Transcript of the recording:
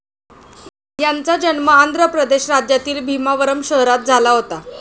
यांचा जन्म आंध्र प्रदेश राज्यातील भीमावरम शहरात झाला होता.